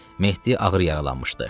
Mehdi ağır yaralanmışdı.